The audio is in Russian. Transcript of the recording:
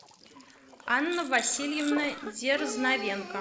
анна васильевна дерзновенко